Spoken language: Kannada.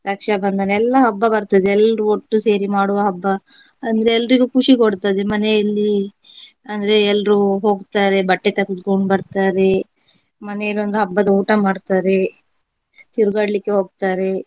ರಕ್ಷಾಬಂಧನ ಎಲ್ಲಾ ಹಬ್ಬ ಬರ್ತದೆ. ಎಲ್ರೂ ಒಟ್ಟು ಸೇರಿ ಮಾಡುವ ಹಬ್ಬ ಅಂದ್ರೆ ಎಲ್ರಿಗೂ ಖುಷಿ ಕೊಡ್ತದೆ ಮನೆಯಲ್ಲಿ ಅಂದ್ರೆ ಎಲ್ರೂ ಹೋಗ್ತಾರೆ ಬಟ್ಟೆ ತೆಗೆದೊಕೊಂಡು ಬರ್ತಾರೆ. ಮನೆಲಿ ಒಂದು ಹಬ್ಬದ ಊಟ ಮಾಡ್ತಾರೆ. ತಿರುಗಾಡ್ಲಿಕ್ಕೆ ಹೋಗ್ತಾರೆ.